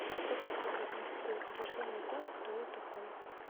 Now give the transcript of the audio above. к какой группе относятся убеждения о том кто я такой